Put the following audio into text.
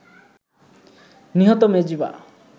নিহত মেজবা